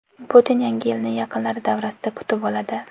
Putin Yangi yilni yaqinlari davrasida kutib oladi.